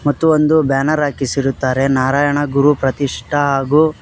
ತ್ತು ಒಂದು ಬ್ಯಾನರ್ ಹಾಕಿಸಿರುತ್ತಾರೆ ನಾರಾಯಣ ಗುರು ಪ್ರತಿಷ್ಟ ಹಾಗು --